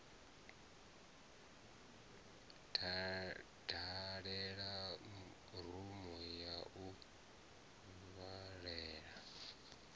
dalela rumu ya u vhalela